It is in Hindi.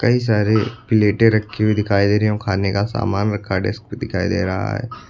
कई सारे प्लेटें रखी हुई दिखाई दे रही हैं और खाने का सामान रखा डेस्क पे दिखाई दे रहा है।